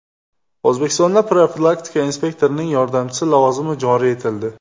O‘zbekistonda profilaktika inspektorining yordamchisi lavozimi joriy etildi.